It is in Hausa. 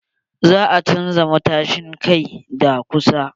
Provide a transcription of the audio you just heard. Za a chanza matashin kai da kusa.